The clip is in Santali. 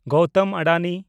ᱜᱳᱣᱛᱢ ᱟᱰᱟᱱᱤ